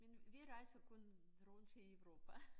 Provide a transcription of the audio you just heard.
Men vi rejser kun rundt her i Europa